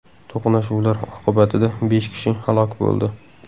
To‘qnashuvlar oqibatida besh kishi halok bo‘ldi.